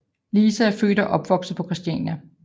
Lise er født og opvokset på Christiania